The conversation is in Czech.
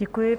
Děkuji.